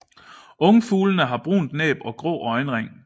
Ungfuglene har brunt næb og grå øjenring